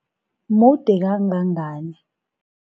Mude kangangani?